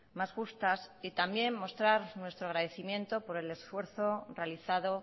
más justas y también mostrar nuestro agradecimiento por el esfuerzo realizado